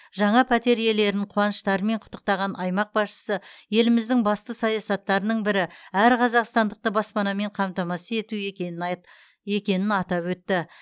жаңа пәтер иелерін қуаныштарымен құттықтаған аймақ басшысы еліміздің басты саясаттарының бірі әр қазақстандықты баспанамен қамтамасыз ету екенін айт екенін атап өтті